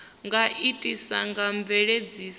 nga itiswa nga mveledziso ya